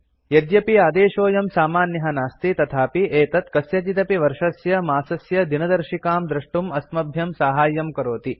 यद्यपि आदेशोऽयं सामान्यः नास्ति तथापि एतत् कस्यचिदपि वर्षस्य मासस्य दिनदर्शिकां द्रष्टुं अस्मभ्यं साहाय्यं करोति